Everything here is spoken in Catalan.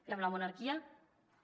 i amb la monarquia també